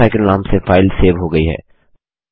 water cycle नाम से file save हो गई है